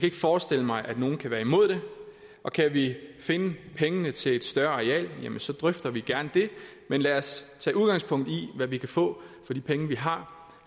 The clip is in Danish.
ikke forestille mig at nogen kan være imod det og kan vi finde pengene til et større areal drøfter vi gerne det men lad os tage udgangspunkt i hvad vi kan få for de penge vi har